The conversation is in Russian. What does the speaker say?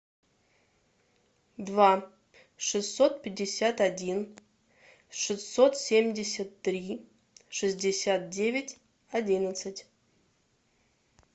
два шестьсот пятьдесят один шестьсот семьдесят три шестьдесят девять одиннадцать